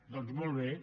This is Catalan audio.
doncs molt bé